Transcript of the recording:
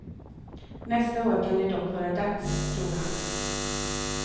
Nästa år kan det dock vara dags, tror han.